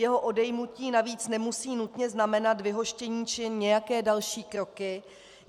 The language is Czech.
Jeho odejmutí navíc nemusí nutně znamenat vyhoštění či nějaké další kroky.